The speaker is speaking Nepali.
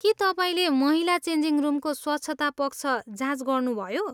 के तपाईँले महिला चेन्जिङ रुमको स्वच्छता पक्ष जाँच गर्नुभयो?